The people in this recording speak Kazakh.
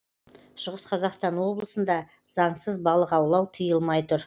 шығыс қазақстан облысында заңсыз балық аулау тиылмай тұр